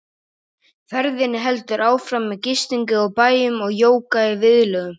Ferðinni heldur áfram með gistingu á bæjum og jóga í viðlögum.